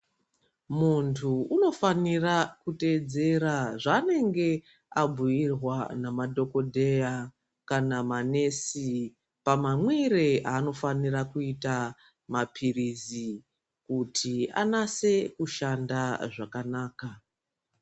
Muntu unofanira kuteedzera zvaanenge abhuyirwa namadhokodheya kana manesi pamamwire aanofanira kuita maphirizi kuti anatse kushanda zvakanaka.